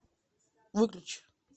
выключи